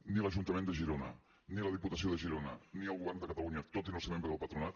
ni l’ajuntament de girona ni la diputació de girona ni el govern de catalunya tot i no ser membre del patronat